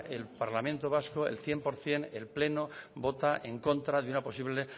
el parlamento vasco el cien por ciento el pleno vota en contra de una posible